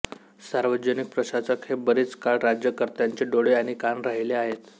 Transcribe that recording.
सार्वजनिक प्रशासक हे बरीच काळ राज्यकर्त्यांचे डोळे आणि कान राहिले आहेत